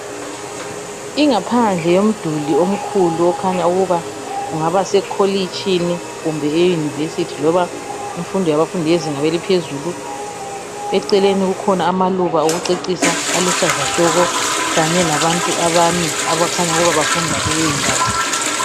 Ingaphandle yomduli omkhulu okhanya ukuba kungabase "College"tshini kumbe e University loba imfundo yabafundi bezinga eliphezulu eceleni kulamaluba okucecisa aluhlaza tshoko kanye labantu abane abakhanya ukuba bafunda kuleyi ndawo